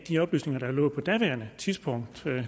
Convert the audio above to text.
de oplysninger der lå på daværende tidspunkt